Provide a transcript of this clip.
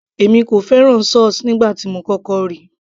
èmi kò fẹ́ràn sauce nígbà tí mo kọ́kọ́ ríi